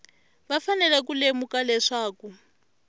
va fanele ku lemuka leswaku